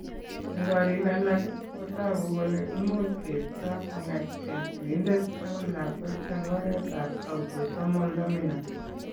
Eng' korik alak ,ko toku kole imuch keipto kong'etke sigindet akoi lakwet eng' oretab autosomal dominant .